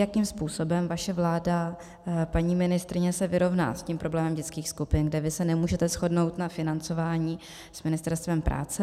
Jakým způsobem vaše vláda, paní ministryně, se vyrovná s tím problémem dětských skupin, kde vy se nemůžete shodnout na financování s Ministerstvem práce.